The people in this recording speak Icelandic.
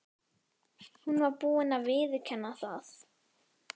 Hún var búin að viðurkenna það.